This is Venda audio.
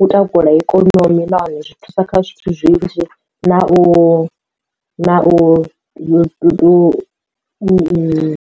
u takula ikonomi na hone zwi thusa kha zwithu zwinzhi na u na u u.